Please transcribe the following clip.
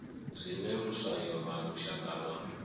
zwine luswayo lwa lushaka lwa